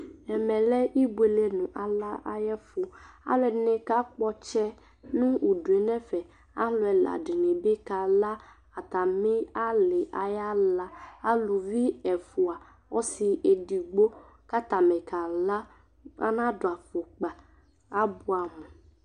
Ɛmɛ lɛ ibuele nʋ ala ɛyɛfu Aalʋɛɖini kakpɔ ɔtsɛ nʋ uɖʋ n'ɛfɛAlʋ ɛlaɖinibi k'ala atamiali ayalaaalʋvi ɛfua ɔsi edigbo k'atani kala anaɖu afʋkpa, abuamʋ